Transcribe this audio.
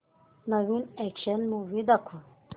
नवीन action movie दाखव